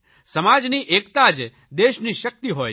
સમાજની એકતા જ દેશની શકિત હોય છે